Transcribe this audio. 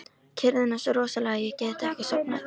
Kyrrðin er svo rosaleg að ég get ekki sofnað.